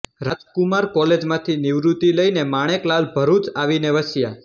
રાજકુમાર કોલેજમાંથી નિવૃત્તિ લઈને માણેકલાલ ભરુચ આવીને વસ્યા